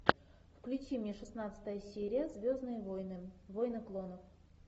включи мне шестнадцатая серия звездные войны войны клонов